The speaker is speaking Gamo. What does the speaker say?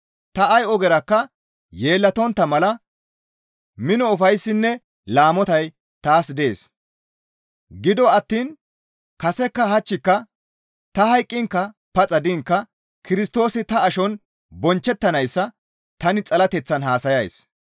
Ta ay ogerakka yeellatontta mala mino ufayssinne laamotay taas dees; gido attiin kasekka hachchika, ta hayqqiinka paxa diinka Kirstoosi ta ashon bonchchettanayssa tani xalateththan haasayays.